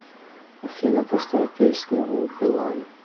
афина поставь песню у билан